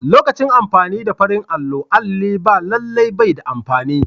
Lokacin amfani da farin allo, alli ba lallai bai da amfani.